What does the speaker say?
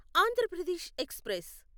Andhra Pradesh express